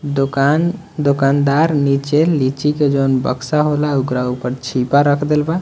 दुकान दुकानदार नीचे लीची के जोवन बक्सा होला ओकर ऊपर छिपा रख देल बा।